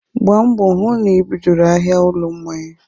Gbaa mbọ hụ na I bidoro ahịa ụlọ mmanya.